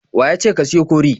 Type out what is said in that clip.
Wa ya ce ka siyo kori?